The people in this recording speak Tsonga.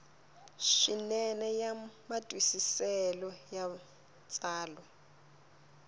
swinene ya matwisiselo ya tsalwa